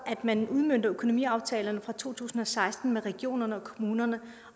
at man udmønter økonomiaftalerne for to tusind og seksten med regionerne og kommunerne